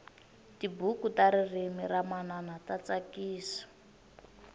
tibuku ta ririmi ra manana ta tsakisa